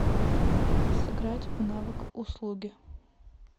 сыграть в навык услуги